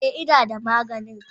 e, ina da maganin.